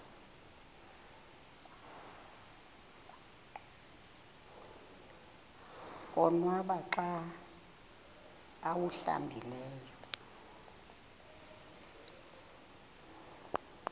konwaba xa awuhlambileyo